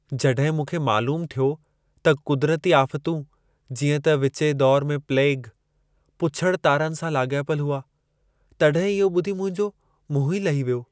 जॾहिं मूंखे मालूमु थियो त क़ुदिरती आफ़तूं, जीअं त विचें दौर में प्लेग, पुछड़ु तारनि सां लाॻापियल हुआ, तॾहिं इहो ॿुधी मुंहिंजो मुंहुं ई लही वियो।